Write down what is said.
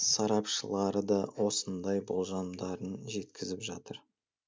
сарапшылары да осындай болжамдарын жеткізіп жатыр